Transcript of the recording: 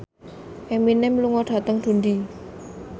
Eminem lunga dhateng Dundee